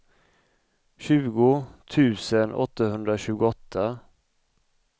tjugo tusen åttahundratjugoåtta